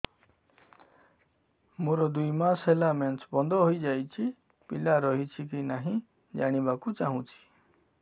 ମୋର ଦୁଇ ମାସ ହେଲା ମେନ୍ସ ବନ୍ଦ ହେଇ ଯାଇଛି ପିଲା ରହିଛି କି ନାହିଁ ଜାଣିବା କୁ ଚାହୁଁଛି